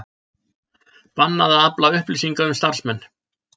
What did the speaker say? Bannað að afla upplýsinga um starfsmenn